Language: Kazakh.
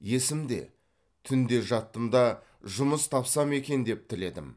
есімде түнде жаттым да жұмыс тапсам екен деп тіледім